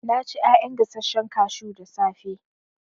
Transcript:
Na ci ƴaƴan gasashen kashu da safe